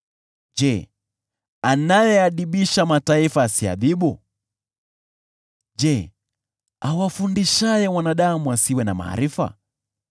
Je, anayeadhibisha mataifa asiadhibu? Je, awafundishaye wanadamu asiwe na maarifa?